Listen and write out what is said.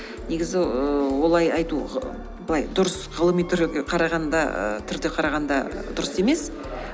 негізі ііі олай айту былай дұрыс ғылыми ііі түрде қарағанда дұрыс емес